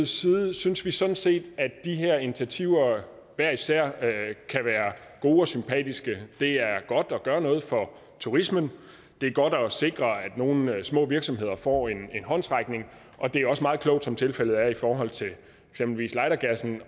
side synes vi sådan set at de her initiativer hver især kan være gode og sympatiske det er godt at gøre noget for turismen det er godt at sikre at nogle små virksomheder får en håndsrækning og det er også meget klogt som tilfældet er i forhold til eksempelvis lightergassen